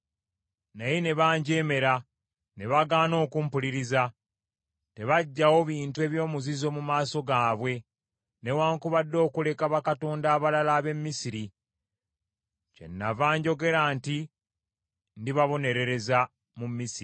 “ ‘Naye ne banjeemera, ne bagaana okumpuliriza; tebaggyawo bintu eby’omuzizo mu maaso gaabwe, newaakubadde okuleka bakatonda abalala ab’e Misiri. Kyenava njogera nti ndibabonerereza mu Misiri.